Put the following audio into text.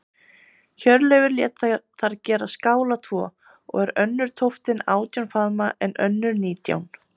Hjörleifur lét þar gera skála tvo, og er önnur tóftin átján faðma, en önnur nítján.